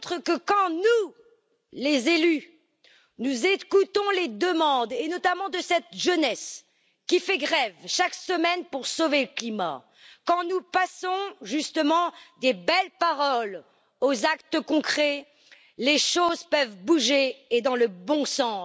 Elle montre que quand nous, les élus, écoutons les demandes, notamment celles de cette jeunesse qui fait grève chaque semaine pour sauver le climat, quand nous passons des belles paroles aux actes concrets, les choses peuvent bouger et dans le bon sens.